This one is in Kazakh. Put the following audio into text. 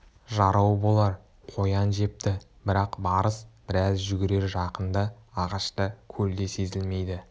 жарау болар қоян жепті бірақ барыс біраз жүгірер жақында ағаш та көл де сезілмейді